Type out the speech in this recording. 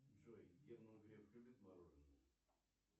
джой герман греф любит мороженое